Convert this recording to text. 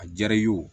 A diyara i ye o